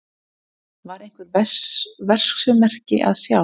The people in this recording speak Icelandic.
Var einhver verksummerki að sjá?